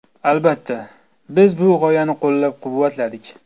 Albatta, biz bu g‘oyani qo‘llab-quvvatladik.